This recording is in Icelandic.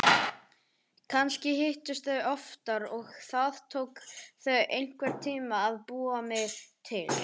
Kannski hittust þau oftar og það tók þau einhvern tíma að búa mig til.